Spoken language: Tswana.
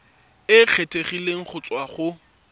e kgethegileng go tswa go